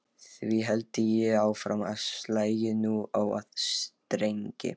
Því héldi ég áfram og slægi nú á aðra strengi